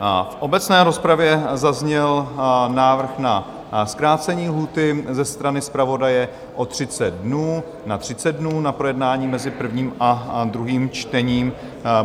V obecné rozpravě zazněl návrh na zkrácení lhůty ze strany zpravodaje o 30 dnů na 30 dnů na projednání mezi prvním a druhým čtením.